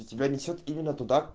и тебя несёт именно туда